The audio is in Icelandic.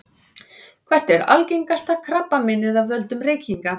hvert er algengasta krabbameinið af völdum reykinga